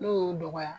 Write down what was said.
N'o y'o dɔgɔya